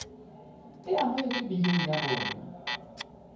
e amohetswe biling ya rona